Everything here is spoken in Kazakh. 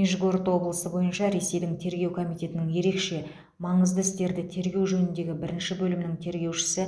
нижегород облысы бойынша ресейдің тергеу комитетінің ерекше маңызды істерді тергеу жөніндегі бірінші бөлімінің тергеушісі